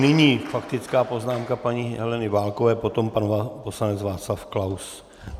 Nyní faktická poznámka paní Heleny Válkové, potom pan poslanec Václav Klaus.